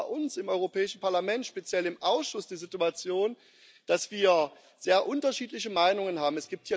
Wir haben auch bei uns im Europäischen Parlament speziell im Ausschuss die Situation, dass wir sehr unterschiedliche Meinungen haben.